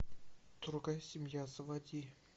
другая семья заводи